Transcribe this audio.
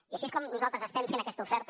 i així és com nosaltres estem fent aquesta oferta